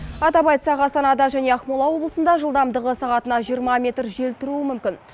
атап айтсақ астанада және ақмола облысында жылдамдығы сағатына жиырма метр жел тұруы мүмкін